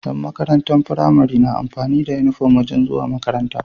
Yan makarantar pramari na amfani da inufom wajan zuwa makaranta